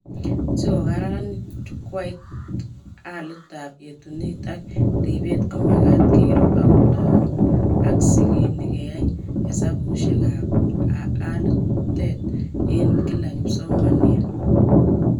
Sikokararanit jukwait alitab yetunet ak ribet komagat kero ak kotoku ak sigini keyay hesabukab alitet eng kila kipsomaniat